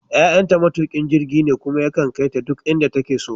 Yayanta matukin jirgi ne kuma yakan kai ta duk inda take so.